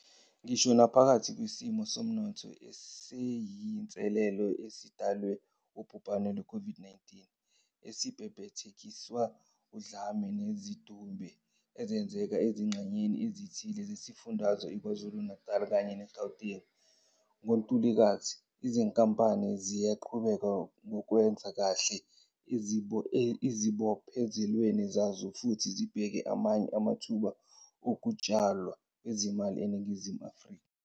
Ngisho namaphakathi kwesimo somnotho esiyinselelo esidalwe wubhubhane lwe COVID-19, esabhebhethekiswa udlame nezidube ezenzeka ezingxenyeni ezithile zezifundazwe i-KwaZulu Natali kanye ne-Gauteng ngoNtulikazi, izinkampani ziyaqhubeka nokwenza kahle ezibophezelweni zazo futhi zibheke amanye amathuba okutshalwa kwezimali eNingizimu Afrika.